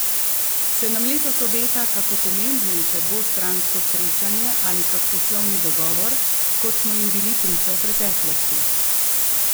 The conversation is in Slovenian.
Se nam letos obeta kako pomembnejše dvostransko srečanje ali kak poslovni dogovor, kot smo jim bili priča v preteklosti?